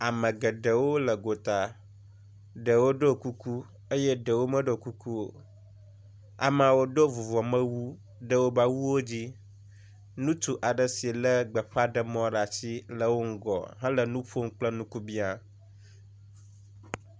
Ame geɖewo le go ta, eɖewo ɖɔ kuku eye ɖewo meɖɔ kukuo. Ameaɖewo Do vuvɔmewu ɖe wobe awuo dzi, ŋutsu aɖe si le gbeƒãɖemɔ ɖe asi le woƒe ŋgɔ hele nuƒom kple nukubĩa.